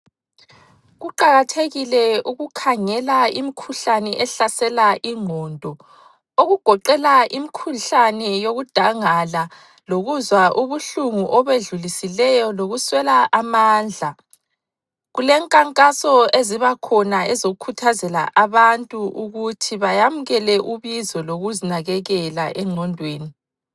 Kuqakathekile ukukhangela imkhuhlane ehlasela ingqondo, okugoqela imkhuhlane yokudangala, lokuzwa ubuhlungu obedlulisileyo, lokuswela amandla. Kulenkankaso ezibakhona ezokukhuthazela abantu ukuthi bayamukele ubizo lokuzinakekela engqondweni.